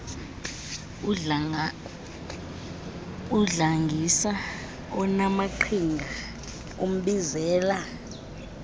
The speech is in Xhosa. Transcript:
udlangisa onaamaqhinga umbizela